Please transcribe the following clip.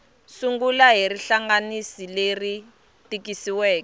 sungula hi rihlanganisi leri tikisiweke